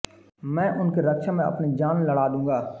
मैं उनकी रक्षा में अपनी जान लड़ा दूँगा